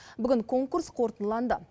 бүгін конкурс қорытындыланды